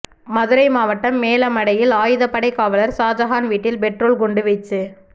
மதுரை மாவட்டம் மேலமடையில் ஆயுதப்படை காவலர் ஷாஜகான் வீட்டில் பெட்ரோல் குண்டு வீச்சு